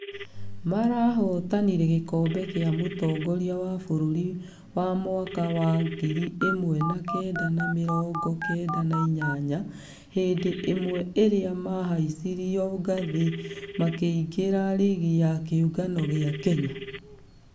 Marahotanire gĩkobe gĩa mũtongoria wa bũrũri wa mwaka wa ngiri ĩmwe na kenda na mĩrongo kenda na inyanya , hĩndĩ ĩmwe ĩrĩa mahaicirio ngathĩ makĩingĩra rigi ya kĩũngano gĩa kenya.